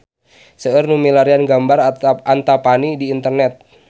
Seueur nu milarian gambar Antapani di internet